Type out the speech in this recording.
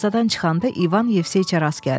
Darvazadan çıxanda İvan Yevseyiçə rast gəldi.